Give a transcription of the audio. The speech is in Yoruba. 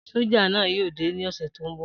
Soja naa yoo de ni ose to nbo